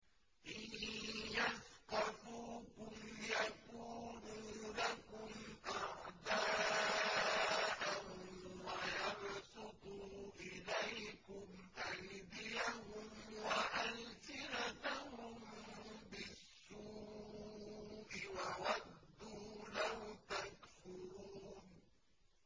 إِن يَثْقَفُوكُمْ يَكُونُوا لَكُمْ أَعْدَاءً وَيَبْسُطُوا إِلَيْكُمْ أَيْدِيَهُمْ وَأَلْسِنَتَهُم بِالسُّوءِ وَوَدُّوا لَوْ تَكْفُرُونَ